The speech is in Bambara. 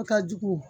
ka jugu